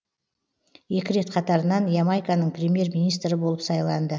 екі рет қатарынан ямайканың премьер министрі болып сайланды